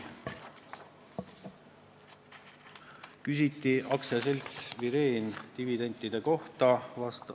Küsiti ka AS-i Vireen dividendide kohta.